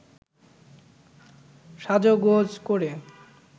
সাজগোজ করে